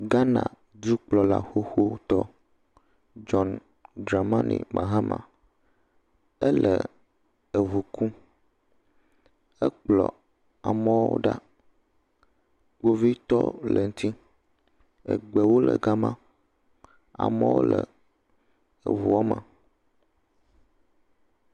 Ghana dukplɔla xoxotɔ, John Dramani Mahama, ele eŋu kum, ekplɔ amewo ɖa, kpovitɔwo le ŋuti, egbewo le gama, amewo le eŋuɔ me.